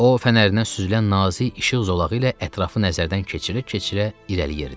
O fənərindən süzülən nazik işıq zolağı ilə ətrafı nəzərdən keçirə-keçirə irəliləyirdi.